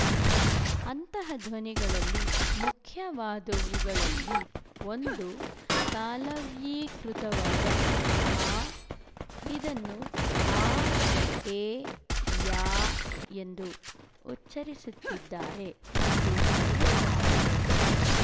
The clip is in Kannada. ಅಂತಹ ಧ್ವನಿಗಳಲ್ಲಿ ಮುಖ್ಯವಾದವುಗಳಲ್ಲಿ ಒಂದು ತಾಲವ್ಯೀಕೃತವಾದ ಆ ಇದನ್ನು ಆ ಏ ಯಾ ಎಂದು ಉಚ್ಚರಿಸುತ್ತಿದ್ದಾರೆ ಮತ್ತು ಬರೆಯುತ್ತಿದ್ದಾರೆ